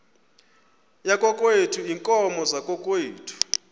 yakokwethu iinkomo zakokwethu